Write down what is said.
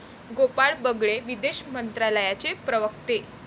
गोपाळ बगळे, विदेश मंत्रालयाचे प्रवक्ते